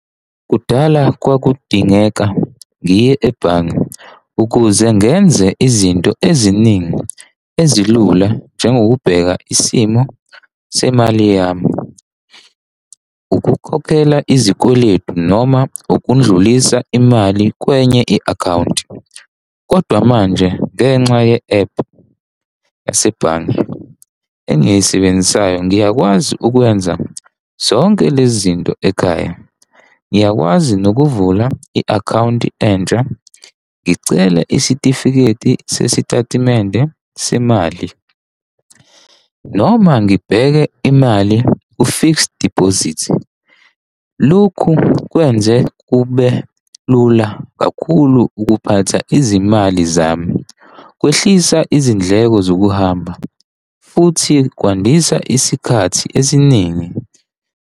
Kudala kwakudingeka ngiye ebhange, ukuze ngenze izinto eziningi ezilula njengokubheka isimo semali yami, ukukhokhela izikweletu noma ukundlulisa imali kwenye i-akhawunti. Kodwa manje, ngenxa ye-ephu yasebhange engiyisebenzisayo, ngiyakwazi ukwenza zonke lezi zinto ekhaya, ngiyakwazi nokuvula i-akhawunti entsha. Ngicele isitifiketi sesitatimende semali noma ngibheke imali u-fixed deposit. Lokhu kwenze kube lula kakhulu ukuphatha izimali zami kwehlisa izindleko zokuhamba futhi kwandisa isikhathi esiningi.